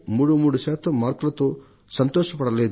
33 శాతం మార్కులతో సంతోషపడలేదు